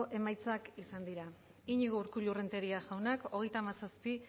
eman dugu bozka hogeita hamazazpi